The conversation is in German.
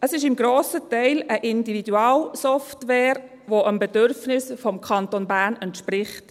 Es ist zum grossen Teil eine Individualsoftware, die dem Bedürfnis des Kantons Bern entspricht.